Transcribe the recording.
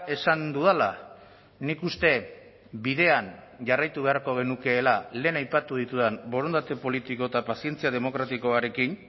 esan dudala nik uste bidean jarraitu beharko genukeela lehen aipatu ditudan borondate politiko eta pazientzia demokratikoarekin